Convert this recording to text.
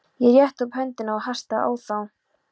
Ég rétti upp höndina og hastaði á þá.